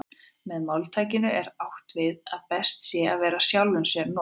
Með máltækinu er því átt við að best sé að vera sjálfum sér nógur.